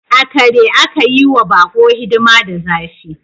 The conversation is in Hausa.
Akare aka yi wa bako hidima da zafi.